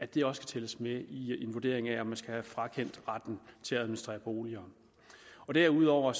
det også tælles med i en vurdering af om man skal have frakendt retten til at administrere boliger derudover